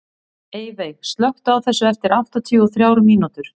Eyveig, slökktu á þessu eftir áttatíu og þrjár mínútur.